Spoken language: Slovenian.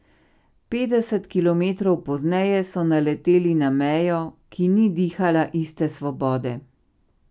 Petdeset kilometrov pozneje so naleteli na mejo, ki ni dihala iste svobode.